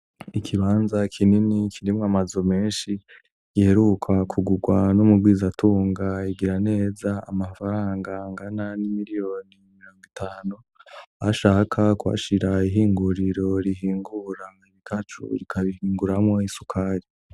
Ikibanza kinini kirimo amazu menshi giheruka kugugwa no mu bwizatunga igira neza amafaranga angana n'imiriyoni 'imirongo itanu bashaka kuhashira ihinguriro rihingura nkamikacu rikabihinguramo isukari.